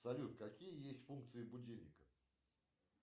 салют какие есть функции будильника